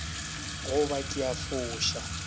go ba ke a foša